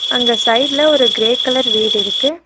அங்க சைடுல ஒரு கிரே கலர் வீடிருக்கு.